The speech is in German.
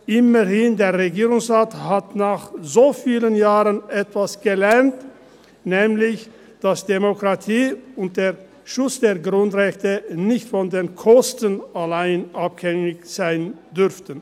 Immerhin hat der Regierungsrat nach so vielen Jahren etwas gelernt, nämlich, dass Demokratie und der Schutz der Grundrechte nicht von den Kosten allein abhängig sein dürfen.